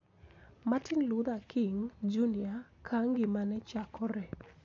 Martin Luther King, Jr. Ka ngimane chakore